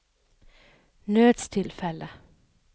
nødstilfelle